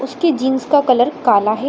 उसके जींस का कलर काला है।